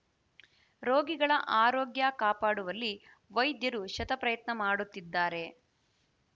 ರೋಗಿಗಳ ಆರೋಗ್ಯ ಕಾಪಾಡುವಲ್ಲಿ ವೈದ್ಯರು ಶತಪ್ರಯತ್ನ ಮಾಡುತ್ತಿದ್ದಾರೆ